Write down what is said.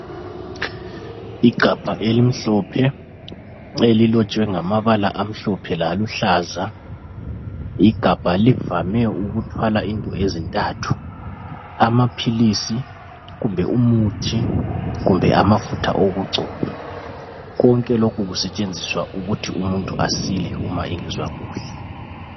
Igabha elimhlophe elilotshwe ngamabala aluhlaza. Igabha livame ukuthwala izinto ezintathu. Amaphilisi kumbe umuthi kumbe amafutha okugcoba. Konke lokhu kusetshenziswa ukuthi umuntu esile ma engezwa kuhle.